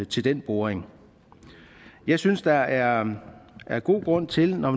til den boring jeg synes der er er god grund til når